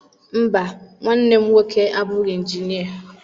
Mba, nwanne m nwoke abụghị injinịa.